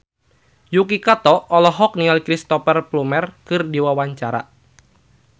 Yuki Kato olohok ningali Cristhoper Plumer keur diwawancara